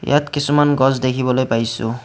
ইয়াত কিছুমান গছ দেখিবলৈ পাইছোঁ।